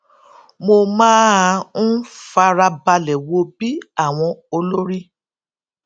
mo máa ń farabalẹ wo bí àwọn olórí